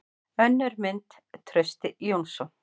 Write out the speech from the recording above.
Önnur mynd: Trausti Jónsson.